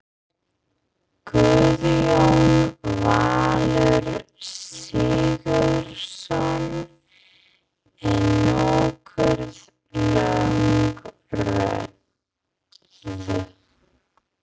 Guðjón Valur Sigurðsson: Er nokkuð löng röð?